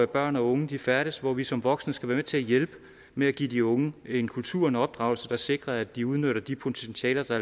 børn og unge færdes og hvor vi som voksne skal være med til at hjælpe med at give de unge en kultur og en opdragelse der sikrer at de udnytter de potentialer der